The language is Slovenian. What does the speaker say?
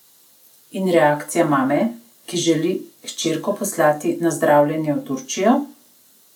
In reakcija mame, ki želi hčerko poslati na zdravljenje v Turčijo?